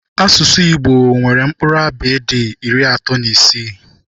Asụsụ Igbo nwere mkpụrụ abịịdị iri atọ na isii.